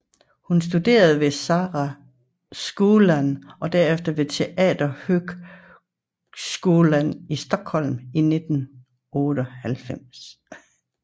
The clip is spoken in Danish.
Hun studerede ved Skara Skolscen og derefter ved Teaterhögskolan i Stockholm til 1989